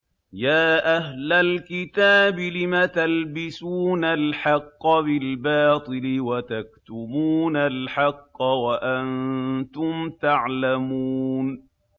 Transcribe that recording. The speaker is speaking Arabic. يَا أَهْلَ الْكِتَابِ لِمَ تَلْبِسُونَ الْحَقَّ بِالْبَاطِلِ وَتَكْتُمُونَ الْحَقَّ وَأَنتُمْ تَعْلَمُونَ